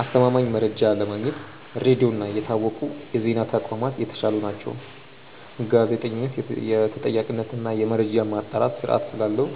አስተማማኝ መረጃ ለማግኘት ሬዲዮ እና የታወቁ የዜና ተቋማት የተሻሉ ናቸው። ጋዜጠኝነት የተጠያቂነት እና የመረጃ ማጣራት ስርዓት ስላለው